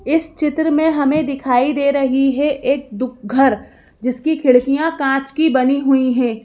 इस चित्र में हमें दिखाई दे रही है एक दुख घर जिसकी खिड़कियां कांच की बनी हुई हैं।